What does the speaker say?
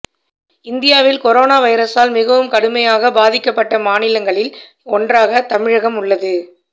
இந்தியாவில் கொரோனா வைரஸால் மிகவும் கடுமையாக பாதிக்கப்பட்ட மாநிலங்களில் ஒன்றாக தமிழகம் உள்ளது